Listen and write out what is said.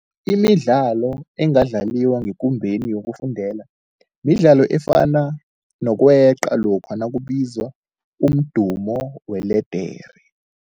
Imidlalo engadlaliwa ngekumbeni yokufundela midlalo efana nokweqa lokha nakubizwa umdumo weledere.